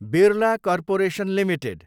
Birla corporation Ltd